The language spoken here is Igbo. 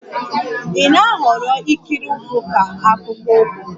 Ị na-ahọrọ ikiri ụkwụ ka akpụkpọ ụkwụ?